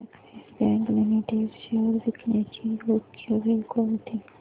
Axis bank limited shares विकण्याची योग्य वेळ कोणती